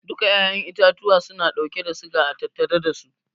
Duka 'ya'yan itatuwa suna dauke da siga a tattare dasu.